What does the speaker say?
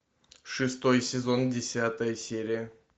шестой сезон десятая серия